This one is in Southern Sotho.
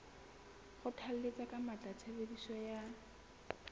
kgothalletsa ka matla tshebediso ya